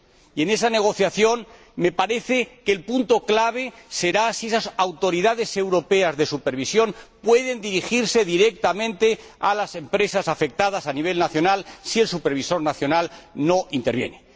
Y, en esa negociación, me parece que el punto clave será si esas autoridades europeas de supervisión pueden dirigirse directamente a las empresas afectadas a nivel nacional si el supervisor nacional no interviene.